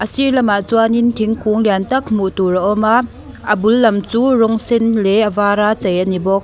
a sir lamah chuanin thingkung lian tak hmuh tur a awm a a bul lam chu rawng sen leh a vara chei a ni bawk.